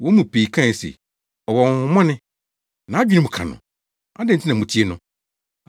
Wɔn mu pii kae se, “Ɔwɔ honhommɔne! Nʼadwene mu ka no! Adɛn nti na mutie no?”